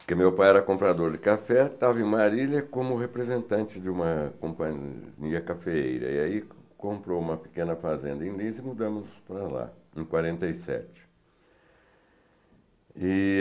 porque meu pai era comprador de café, estava em Marília como representante de uma companhia cafeeíra, e aí comprou uma pequena fazenda em Lins e mudamos para lá, em quarenta e sete.